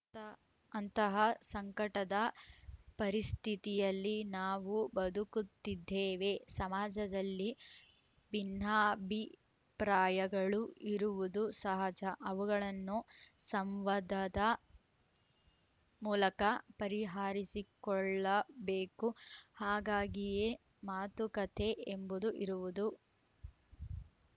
ಅಂತಹ ಸಂಕಟದ ಪರಿಸ್ಥಿತಿಯಲ್ಲಿ ನಾವು ಬದುಕುತ್ತಿದ್ದೇವೆ ಸಮಾಜದಲ್ಲಿ ಭಿನ್ನಾಭಿಪ್ರಾಯಗಳು ಇರುವುದು ಸಹಜ ಅವುಗಳನ್ನು ಸಂವಾದದ ಮೂಲಕ ಪರಿಹಾರಿಸಿಕೊಳ್ಳಬೇಕು ಹಾಗಾಗಿಯೇ ಮಾತುಕತೆ ಎಂಬುದು ಇರುವುದು